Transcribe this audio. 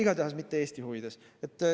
Igatahes mitte Eesti huvides.